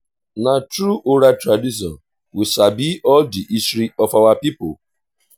na through oral tradition we sabi all the history of our people.